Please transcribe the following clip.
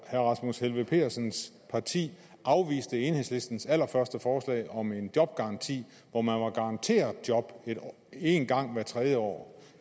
herre rasmus helveg petersens parti afviste enhedslistens allerførste forslag om en jobgaranti hvor man var garanteret job en gang hvert tredje år